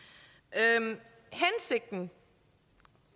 den